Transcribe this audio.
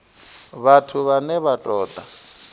vhathu vhane vha ṱo ḓa